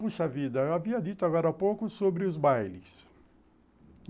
Puxa vida, eu havia dito agora há pouco sobre os bailes.